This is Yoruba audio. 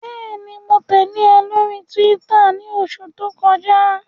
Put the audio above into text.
Bẹẹni, Mo tẹle ọ lori Túwìtá ni oṣu to kọja